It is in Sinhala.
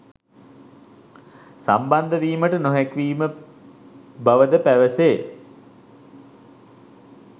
සම්බන්ධවීමට නොහැකිවීම බවද පැවසේ